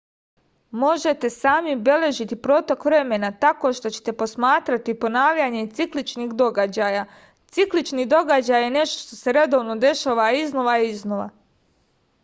možete sami beležiti protok vremena tako što ćete posmatrati ponavljanje cikličnih događaja ciklični događaj je nešto što se redovno dešava iznova i iznova